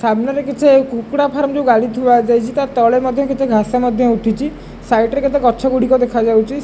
ସାମ୍ନା ରେ କିଛି କୁକୁଡ଼ା ଫାମ୍ର ର ଗାଡ଼ି ଥୁଆଯାଇଛି ତା ତଳେ ମଧ୍ୟ କିଛି ଘାସ ମଧ୍ୟ ଉଠିଛି ସାଇଡ୍ ରେ କେତେ ଗଛଗୁଡ଼ିକ ଦେଖାଯାଉଛି।